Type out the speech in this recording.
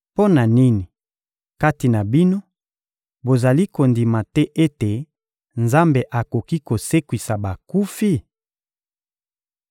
Mpo na nini, kati na bino, bozali kondima te ete Nzambe akoki kosekwisa bakufi?